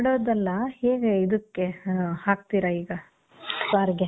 ಮಾಡೋದಲ್ಲ. ಹೇಗೆ ಇದಕ್ಕೆ, ಆ, ಹಾಕ್ತೀರ ಈಗ ಸಾರ್ಗೆ?